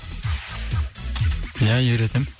ия үйретемін